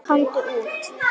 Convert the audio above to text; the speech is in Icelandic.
Komdu út!